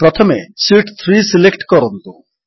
ପ୍ରଥମେ sheet 3 select କରନ୍ତୁ